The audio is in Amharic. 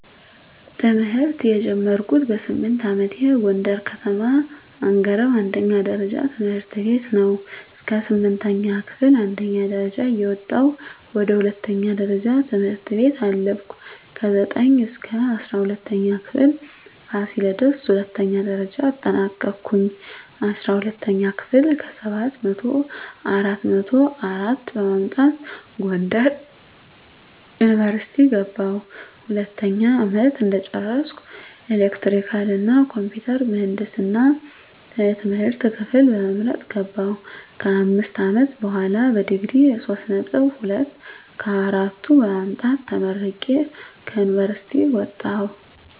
ትምህርት የጀመርኩት በስምንት አመቴ ጎንደር ከተማ አንገረብ አንደኛ ደረጃ ትምህርት ቤት ነው። እስከ ስምንተኛ ክፍል አንደኛ ደረጃ እየወጣሁ ወደ ሁለተኛ ደረጃ ትምህርት ቤት አለፍኩ። ከዘጠኝ እስከ እስራ ሁለተኛ ክፍል ፋሲለደስ ሁለተኛ ደረጃ አጠናቀኩኝ። አስራ ሁለተኛ ክፍል ከሰባት መቶው አራት መቶ አራት በማምጣት ጎንደር ዩኒቨርሲቲ ገባሁ። ሁለተኛ አመት እንደጨረስኩ ኤሌክትሪካል እና ኮምፒውተር ምህንድስና የትምህርት ክፍል በመምረጥ ገባሁ። ከአምስት አመት በሆላ በዲግሪ ሶስት ነጥብ ሁለት ከአራቱ በማምጣት ተመርቄ ከዩኒቨርሲቲ ወጣሁ።